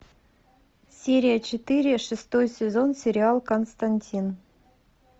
серия четыре шестой сезон сериал константин